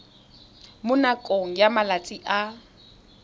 mo nakong ya malatsi a